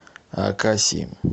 акаси